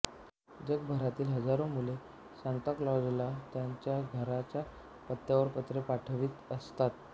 जगभरातील हजारो मुले सांताक्लॉजला त्याच्या घरच्या पत्त्यावर पत्रे पाठवीत असतात